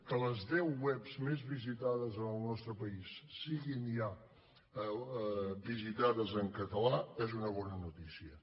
que les deu webs més visitades en el nostre país siguin ja visitades en català és una bona noticia